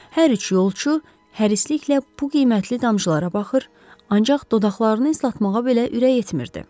Hər üç yolçu hərisliklə bu qiymətli damcılara baxır, ancaq dodaqlarını islatmağa belə ürək etmirdi.